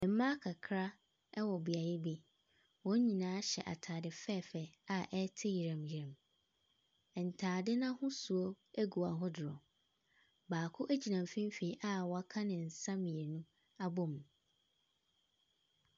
Mmaa kakra ɛwɔ beaeɛ bi. Wɔn nyinaa hyɛ ataade fɛfɛ a ɛte yerɛm yerɛm. Ntaade n'ahosuo egu ahodoɔ. Baako egyina mfimfini a waka ne nsa mmienu abom.